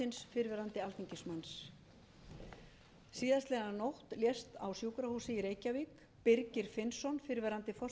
síðastliðinn nótt lést á sjúkrahúsi í reykjavík birgir finnsson fyrrverandi forseti sameinaðs